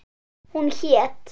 Hún hét